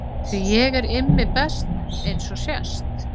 Því ég er Immi best eins og sést.